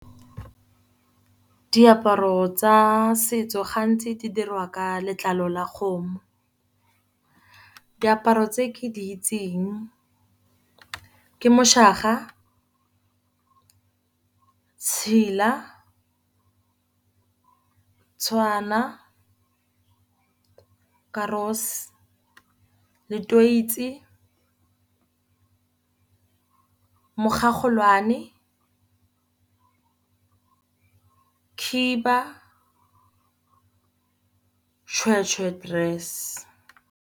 Diaparo tsa setso gantsi di dirwa ka letlalo la kgomo. Diaparo tse ke di itseng ke moshaga, tshila, tshwana, karose letoitsi, mogogolwane, khiba shweshwe dress.